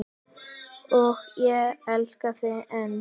Og ég elska þig enn.